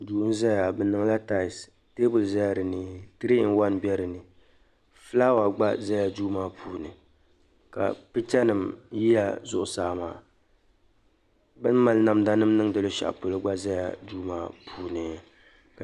Duu n zaya di niŋla taayisi teebuli zala dini tirii ni waani be dini fulaawa gba zala duu maa puuni ka picha nim yila zuɣu saa maa beni mali namda nim niŋdi luɣishɛli polo gba zala duu maa puuni